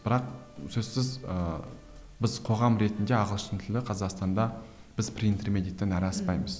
бірақ сөзсіз ыыы біз қоғам ретінде ағылшын тілі қазақстанда біз принтермедиттен әрі аспаймыз